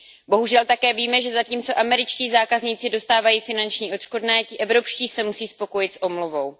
Bohužel také víme, že zatímco američtí zákazníci dostávají finanční odškodné, ti evropští se musí spokojit s omluvou.